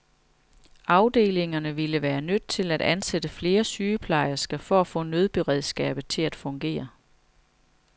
Afdelingerne ville være nødt til at ansætte flere sygeplejersker for at få nødberedskabet til at fungere.